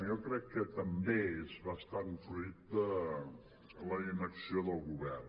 jo crec que també és bastant fruit de la inacció del govern